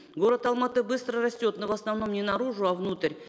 город алматы быстро растет но в основном не наружу а внутрь